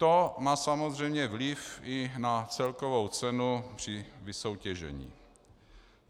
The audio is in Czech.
To má samozřejmě vliv i na celkovou cenu při vysoutěžení.